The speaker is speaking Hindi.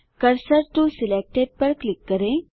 कर्सर टो सिलेक्टेड पर क्लिक करें